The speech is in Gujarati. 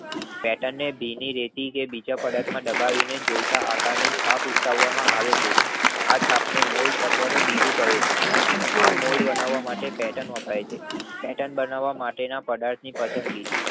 પેર્ટન ને ભીની રેતી કે બીજા પદાર્થ માં દબાવીને કોઈ પણ આકાર ની છાપ કરવામાં આવે છે. આ છાપ ને મોલ્ડ અથવા તો બીબું કહે છે.